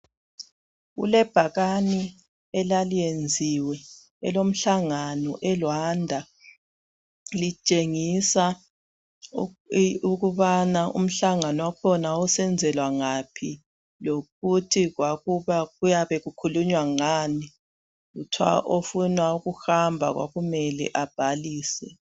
Kulebhakani elaliyenziwe elomhlangano eRwanda. Litshenyisa ukubananthi umhlangano wakhona, wawusenzelwa ngaphi.,Lokuthi kwakukhulunywa ngani. Lokuthi ofuna ukuhamba kwakumele abhalise.